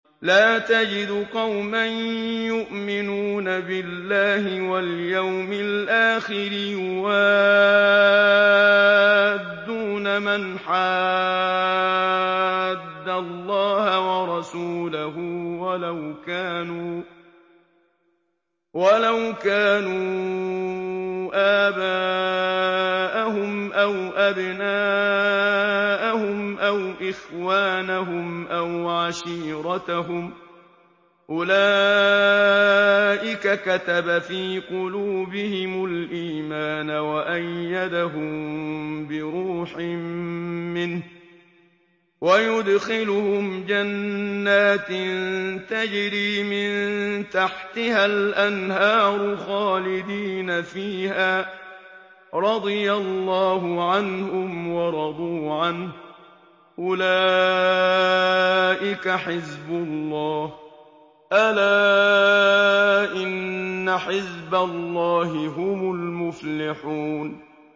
لَّا تَجِدُ قَوْمًا يُؤْمِنُونَ بِاللَّهِ وَالْيَوْمِ الْآخِرِ يُوَادُّونَ مَنْ حَادَّ اللَّهَ وَرَسُولَهُ وَلَوْ كَانُوا آبَاءَهُمْ أَوْ أَبْنَاءَهُمْ أَوْ إِخْوَانَهُمْ أَوْ عَشِيرَتَهُمْ ۚ أُولَٰئِكَ كَتَبَ فِي قُلُوبِهِمُ الْإِيمَانَ وَأَيَّدَهُم بِرُوحٍ مِّنْهُ ۖ وَيُدْخِلُهُمْ جَنَّاتٍ تَجْرِي مِن تَحْتِهَا الْأَنْهَارُ خَالِدِينَ فِيهَا ۚ رَضِيَ اللَّهُ عَنْهُمْ وَرَضُوا عَنْهُ ۚ أُولَٰئِكَ حِزْبُ اللَّهِ ۚ أَلَا إِنَّ حِزْبَ اللَّهِ هُمُ الْمُفْلِحُونَ